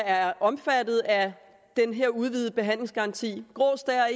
er omfattet af den her udvidede behandlingsgaranti grå stær er